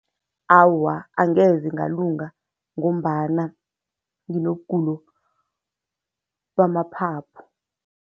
Awa, angeze ngalunga ngombana nginobugulo bamaphaphu.